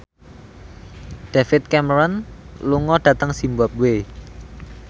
David Cameron lunga dhateng zimbabwe